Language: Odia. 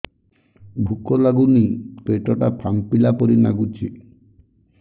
ଭୁକ ଲାଗୁନି ପେଟ ଟା ଫାମ୍ପିଲା ପରି ନାଗୁଚି